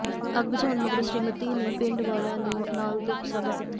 ਅੱਗ ਬੁਝਾਉਣ ਮਗਰੋਂ ਸਮ੍ਰਿਤੀ ਨੇ ਪਿੰਡ ਵਾਲਿਆਂ ਨਾਲ ਦੁੱਖ ਸਾਂਝਾ ਕੀਤਾ